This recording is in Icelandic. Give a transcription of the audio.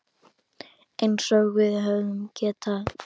Eins og við höfum getað.